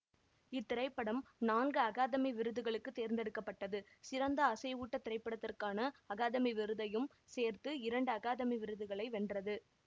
இத்திரைப்படம் நான்கு அகாதமி விருதுகளுக்கு தேர்ந்தெடுக்க பட்டது சிறந்த அசைவூட்டத் திரைப்படத்திற்கான அகாதமி விருதையும் சேர்த்து இரண்டு அகாதமி விருதுகளை வென்றது